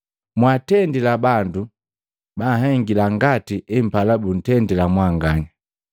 Mwatendila bandu banhengila ngati empala buntendila mwanganya.”